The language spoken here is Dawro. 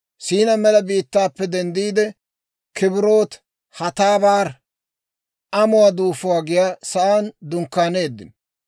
Siinaa mela biittaappe denddiide, Kibrot-Hatabar (Amuwaa Duufuwaa giyaa saan dunkkaaneeddino).